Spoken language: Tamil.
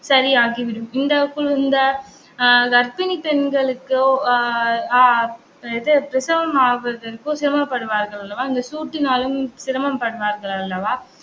சரியாகிவிடும். இந்த குளிர்ந்த அஹ் கர்ப்பிணி பெண்களுக்கோ அஹ் அஹ் இது பிரசவம் ஆகுறதுக்கு சிரமப்படுவார்கள் அல்லவா அந்த சூட்டினாலும் சிரமப்படுவார்கள் அல்லவா